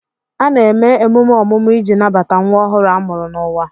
A na-eme emume ọmụmụ iji nabata nwa ọhụrụ a mụrụ n'ụwa.